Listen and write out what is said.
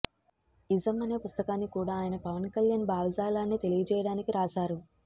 ism అనే పుస్తకాన్ని కూడా ఆయన పవన్ కళ్యాణ్ భావజాలాన్ని తెలియజేయడానికి రాశారు